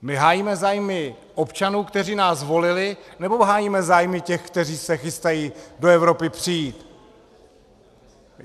My hájíme zájmy občanů, kteří nás volili, nebo hájíme zájmy těch, kteří se chystají do Evropy přijít?